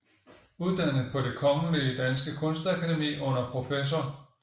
Uddannet på Det Kongelige Danske Kunstakademi under prof